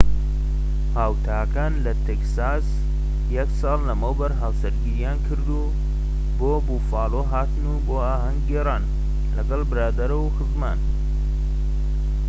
هاوتاکان لە تێکساس یەک ساڵ لەمەوبەر هاوسەرگیریان کردوو و بۆ بوفالۆ هاتن بۆ ئاھەنگ گێڕان لەگەڵ برادەر و خزمان